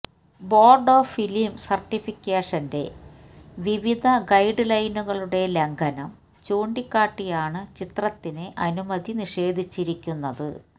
board of film സർട്ടിഫിക്കേഷന്റെ വിവിധ ഗൈഡ്ലൈനുകളുടെ ലംഘനം ചൂണ്ടിക്കാട്ടിയാണ് ചിത്രത്തിന് അനുമതി നിഷേധിച്ചിരിക്കുന്നത്